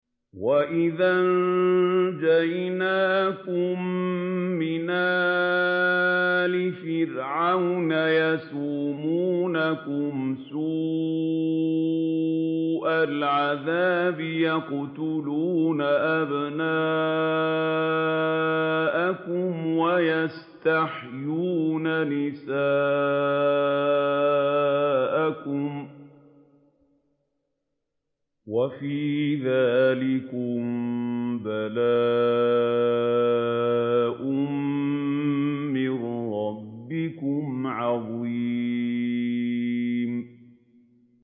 وَإِذْ أَنجَيْنَاكُم مِّنْ آلِ فِرْعَوْنَ يَسُومُونَكُمْ سُوءَ الْعَذَابِ ۖ يُقَتِّلُونَ أَبْنَاءَكُمْ وَيَسْتَحْيُونَ نِسَاءَكُمْ ۚ وَفِي ذَٰلِكُم بَلَاءٌ مِّن رَّبِّكُمْ عَظِيمٌ